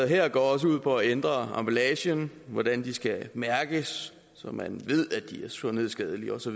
her går også ud på at ændre emballagen hvordan de skal mærkes så man ved at de er sundhedsskadelige osv